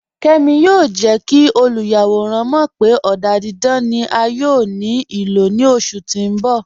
Kẹ́mi yóò jẹ́ kí olúyàwọ̀ràn mọ̀ pé ọ̀dà dídán ni à yóò ní ilò ní oṣù tí n bọ̀.